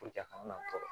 a kana tɔɔrɔ